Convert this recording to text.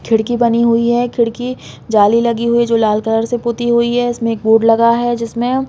खिड़की बनी हुई है खिड़की जाली लगी हुई हैं जो लाल कलर से पुती हुई है इसमें एक बोर्ड लगा है जिसमे--